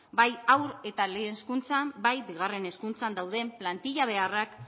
bai haur eta lehen hezkuntzan bai bigarren hezkuntzan dauden plantilla beharrak